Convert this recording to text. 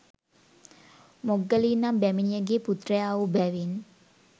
මොග්ගලී නම් බැමිණියගේ පුත්‍රයාවූ බැවින්